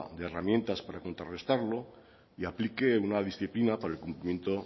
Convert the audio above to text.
de herramientas para contrarrestarlo y aplique una disciplina para el cumplimiento